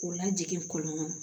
K'o lajigin kɔlɔn kɔnɔ